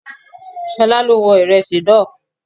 Ṣolá ló wọn Ìrẹsì náà.